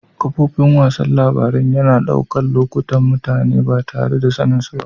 Kafofin wasan labaru ya na daukan lokatai'n yawancin mutane ba tare da sanin su ba.